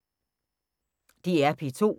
DR P2